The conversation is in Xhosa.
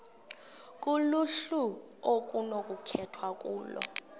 kuluhlu okunokukhethwa kulo